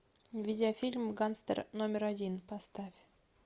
видеофильм гангстер номер один поставь